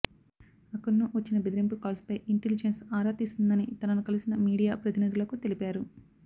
అకున్ను వచ్చిన బెదరింపు కాల్స్పై ఇంటలీజెన్స్ ఆరా తీస్తుందని తనను కలిసిన మీడియా ప్రతినిధులకు తెలిపారు